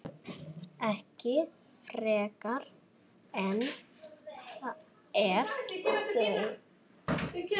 Ekki frekar en ég þau.